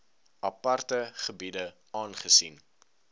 aparte gebiede aangesien